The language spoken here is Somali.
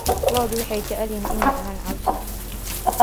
Lo'du waxay jecel yihiin inay cunaan cawska.